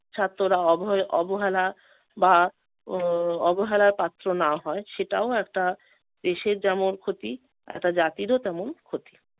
ছাত্ররা অভয়~ অবহেলা বা আহ অবহেলার পাত্র না হয় সেটাও একটা দেশের যেমন ক্ষতি একটা জাতিরও তেমন ক্ষতি।